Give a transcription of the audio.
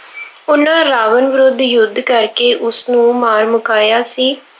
ਉਹਨਾ ਰਾਵਣ ਵਿਰੁੱਧ ਯੁੱਧ ਕਰਕੇ ਉਸਨੂੰ ਮਾਰ ਮੁਕਾਇਆ ਸੀ।